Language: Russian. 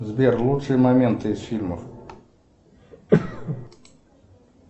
сбер лучшие моменты из фильмов